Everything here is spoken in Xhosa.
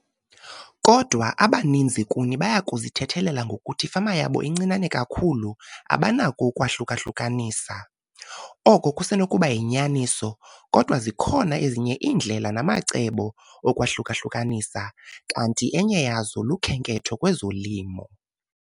Kodwa, abaninzi kuni baya kuzithethelela ngokuthi ifama yabo incinane kakhulu abanako ukwahluka-hlukanisa. Oko kusenokuba yinyaniso kodwa zikhona ezinye iindlela namacebo okwahluka-hlukanisa kanti enye yazo lukhenketho kwezolimo.